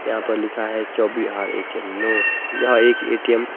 यहां पर लिखा है चौबिहार ए_टी_एम नो यह एक ए_टी_एम --